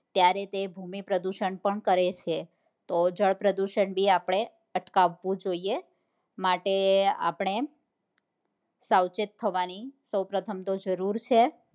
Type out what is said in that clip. ત્યારે તે ભૂમિ પ્રદુષણ પણ કરે છે તો જળ પ્રદુષણ બી આપણે અટકાવવું જોઈએ માટે આપણે સાવચેત થવા ની સૌ પપ્રથમ તો જરૂર છે